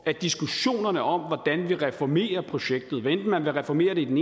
er diskussionerne om hvordan vi reformerer projektet hvad enten man vil reformere det i den